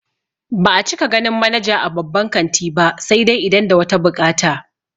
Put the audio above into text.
Ba'a cika ganin manaja a babban kanti ba sai dai idan da wata buƙata